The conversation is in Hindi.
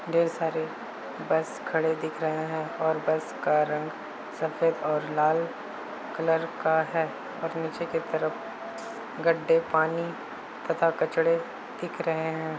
ढेर सारे बस खड़े दिख रहे हैं और बस का रंग सफेद और लाल कलर का है और नीचे की तरफ गढ़े पानी तथा कचड़े दिख रहे हैं।